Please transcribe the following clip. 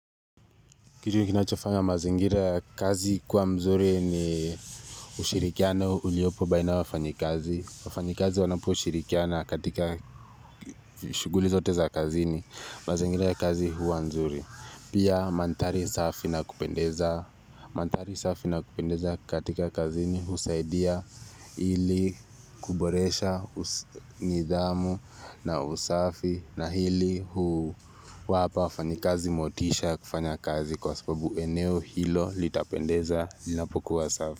Kitu kinachofanya mazingira ya kazi kuwa mzuri ni ushirikiano uliopo baina ya wafanyikazi. Wafanyikazi wanaposhirikiana katika shughuli zote za kazini. Mazingira ya kazi huwa nzuri. Pia mandhari safi na kupendeza katika kazini husaidia ili kuboresha nidhamu na usafi na hili wapa wafanyikazi motisha ya kufanya kazi. Kwa sababu eneo hilo litapendeza linapokuwa safi.